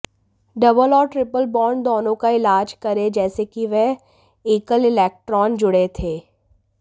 double और triple bond दोनों का इलाज करें जैसे कि वे एकल इलेक्ट्रॉन जोड़े थे